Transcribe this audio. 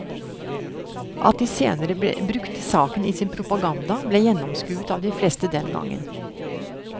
At de senere brukte saken i sin propaganda, ble gjennomskuet av de fleste den gangen.